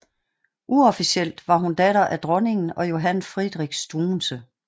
Uofficielt var hun datter af dronningen og Johann Friedrich Struensee